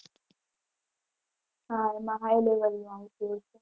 હાં એમાં high level નું આવતું હશે.